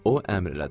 O əmr elədi.